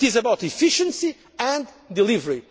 power. It is about efficiency and delivery.